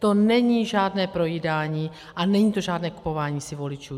To není žádné projídání a není to žádné kupování si voličů.